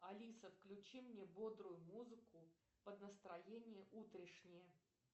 алиса включи мне бодрую музыку под настроение утрешнее